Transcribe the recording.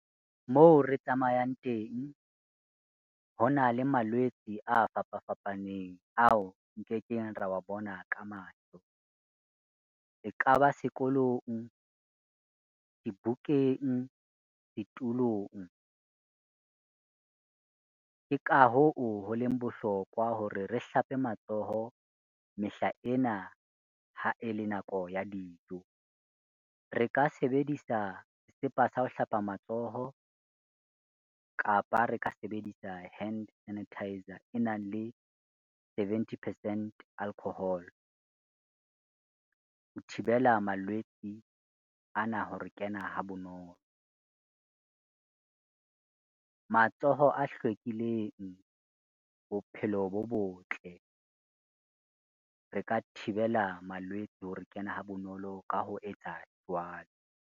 Moo re tsamayang teng, ho na le malwetse a fapa fapaneng, ao nkekeng ro wa bona ka mahlo. E ka ba sekolong, dibukeng, ditulong, ke ka hoo ho leng bohlokwa hore re hlape matsoho mehlaena ha e le nako ya dijo, re ka sebedisa sesepa sa ho hlapa matsoho kapa re ka sebedisa hand sanitiser e nang le seventy percent alcohol. Ho thibela malwetse ana ho re kena ha bonolo, matsoho a hlwekileng bophelo bo botle. Re ka thibela malwetse ho re kena ha bonolo ka ho etsa jwalo.